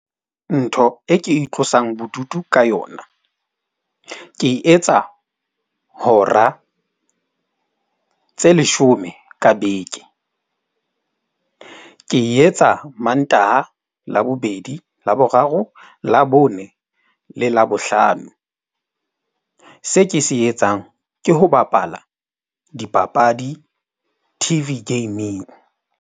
Ntho e ke itlosang bodutu ka yona, ke e etsa hora tse leshome ka beke. Ke e etsa Mantaha, Labobedi, Laboraro, Labone le Labohlano. Se ke se etsang ke ho bapala dipapadi T_V gaming.